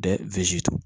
Dɛ